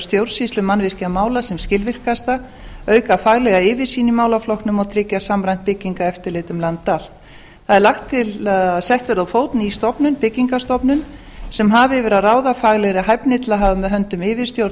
stjórnsýslu mannvirkjamála sem skilvirkasta auka faglega yfirsýn í málaflokknum og tryggja samræmt byggingareftirlit um land allt það er lagt til að sett verði á fót ný stofnun byggingarstofnun sem hafi yfir að ráða faglegri hæfni til að hafa með höndum yfirstjórn